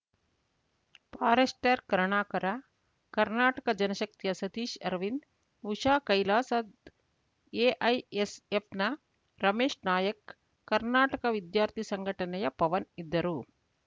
forester Karunakara Karnataka ಜನಶಕ್ತಿಯ ಸತೀಶ್ ಅರವಿಂದ್‌ ಉಷಾ ಕೈಲಾಸದ್‌ ಎಐಎಸ್‌ಎಫ್‌ನ ರಮೇಶ್ ನಾಯ್ಕ ಕರ್ನಾಟಕ ವಿದ್ಯಾರ್ಥಿ ಸಂಘಟನೆಯ ಪವನ್‌ ಇದ್ದರು